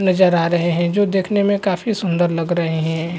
नजर आ रहे हैं जो देखने में काफी सुंदर लग रहे हैं।